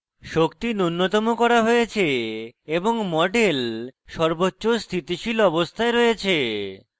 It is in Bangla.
শক্তি নুন্যতম করা হয়েছে এবং model সর্বোচ্চ স্থিতিশীল অবস্থায় রয়েছে